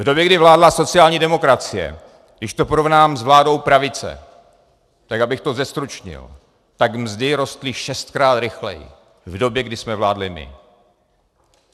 V době, kdy vládla sociální demokracie, když to porovnám s vládou pravice, tak abych to zestručnil, tak mzdy rostly šestkrát rychleji v době, kdy jsme vládli my.